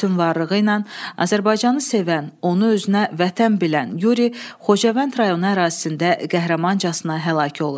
Bütün varlığı ilə Azərbaycanı sevən, onu özünə vətən bilən Yuri Xocavənd rayonu ərazisində qəhrəmancasına həlak olur.